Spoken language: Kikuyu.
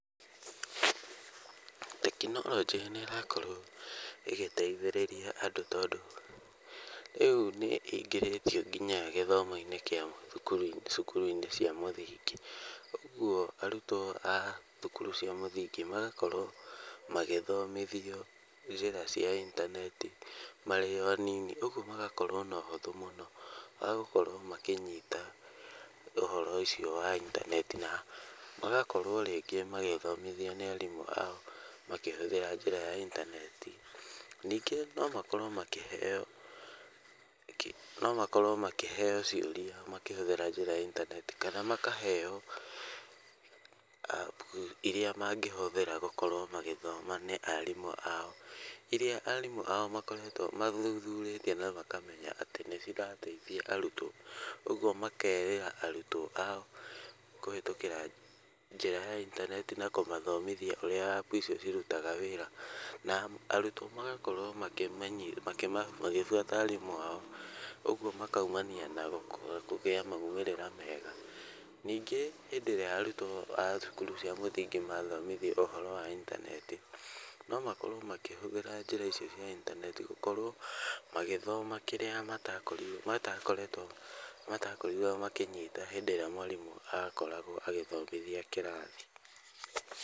Tekinoronjĩ nĩ ĩrakorwo ĩgĩteithĩrĩria andũ tondũ rĩu nĩ ĩingĩrĩtio nginya gĩthomo-inĩ gĩa cukuru cia mũthingi. Ũguo arutwo a thukuru cia mũthingi magakorwo magĩthomithio njĩra cia intaneti marĩ o anini. Ũguo magakorwo na ũhũthũ mũno wa gũkorwo makĩnyita ũhoro ũcio wa intaneti na magakorwo rĩngĩ magĩthomithio nĩ arimũ ao makĩhũthĩra njĩra ya intaneti. Ningĩ no makorwo makĩheo ciũria makĩhũthĩra njĩra ya intaneti, kana makaheo App irĩa mangĩhũthĩra gũkorwo magĩthoma nĩ arimũ ao. ĩria arimũ ao mathuthurĩtie na makamenya atĩ nĩ cirateithia arutwo. Ũguo makerĩra arutwo ao kũhĩtũkĩra njĩra ya intaneti na kũmathomithia ũrĩa App icio cirutaga wĩra. Na arutwo magakorwo magĩbuata arimũ ao ũguo makoimania na kũgĩa moimĩrĩra mega. Ningĩ hĩndĩ ĩrĩa arutwo a cukuru cia mũthingi mathomithio ũhoro wa intaneti, no makorwo makĩhũthĩra njĩra icio cia intaneti gũkorwo magĩthoma kĩrĩa matakoretwo matakorirwo makĩnyita hĩndĩ ĩrĩa mwarimũ akoragwo agĩthomithia kĩrathi.